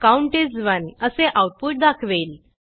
count is 1 असे output दाखवेल